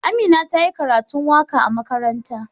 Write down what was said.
Amina ta yi karatun waka a makaranta.